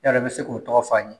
E yɛrɛ bɛ se k'o tɔgɔ f'an ye.